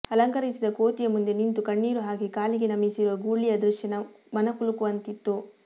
ಅಲಂಕರಿಸಿದ ಕೋತಿಯ ಮುಂದೆ ನಿಂತು ಕಣ್ಣಿರು ಹಾಕಿ ಕಾಲಿಗೆ ನಮಿಸಿರುವ ಗೂಳಿಯ ದೃಶ್ಯ ಮನ ಕಲುಕುವಂತಿತ್ತು